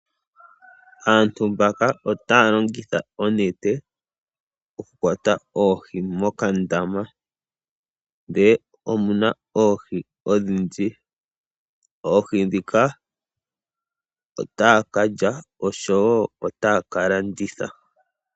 Aantu mbaka otaya longitha onete oku kwata oohi mokandama . Ndele omuna oohi odhindji . Oohi ndhika otaya kalya osho woo otaya ka landitha.